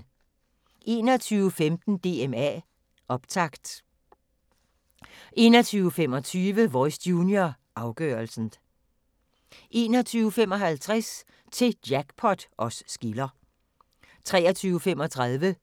21:15: DMA optakt 21:25: Voice Junior, afgørelsen 21:55: Til Jackpot os skiller 23:35: